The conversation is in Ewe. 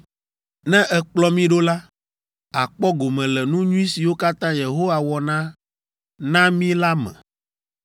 Ne èkplɔ mí ɖo la, àkpɔ gome le nu nyui siwo katã Yehowa wɔna na mí la me.”